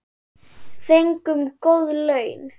Fengum góð laun.